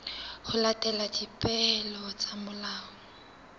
ho latela dipehelo tsa molao